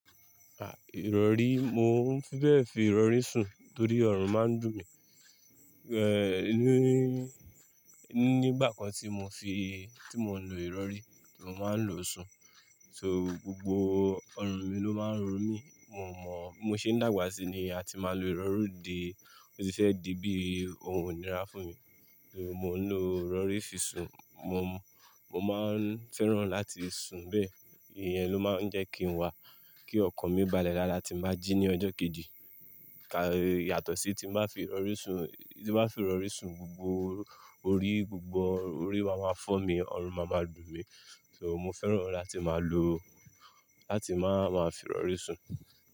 À, ìrọ̀rí, mo ń fi bẹ́ẹ̀ fi ìrọ̀rí sùn torí ọrùn máa ń dùn mí. Oní, nígbà kan tí mo fi, tí mo lo ìrọ̀rí, tí mo máa ń lo sùn. So gbogbo ọrùn mi ló máa ń ro mí, mo mọ̀, mo ṣe ń dàgbà síi ni a ti máa lo ìrọ̀rí di, ó ti fẹ́ di bí ohun ínirà fúnmi. So mo ń lo ìrọ̀rí fi sùn, mo, mo máa ń fẹ́ràn láti sùn bẹ́ẹ̀. Iye ló máa ń jẹ́ kí n wà, kí ọkàn mi balẹ̀ dáadáa tí màá jí ní ọjọ́ kejì. Kà yàtọ̀ sí tí mo fi ìrọ̀rí sùn, tí mo fi ìrọ̀rí sùn gbogbo orí, gbogbo orí a máa fọ́ mi, ọrùn máa ma dùn mí. So mo fẹ́ràn láti máa lo, láti máa máa fi ìrọ̀rí sùn.